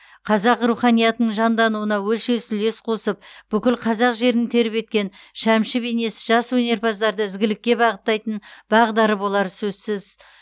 қазақ руханиятының жандануына өлшеусіз үлес қосып бүкіл қазақ жерін тербеткен шәмші бейнесі жас өнерпаздарды ізгілікке бағыттайтын бағдары болары сөзсіз